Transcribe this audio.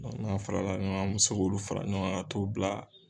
n'a farala ɲɔgɔn kan an mɛ se k'olu fara ɲɔgɔn kan ka t'u bila.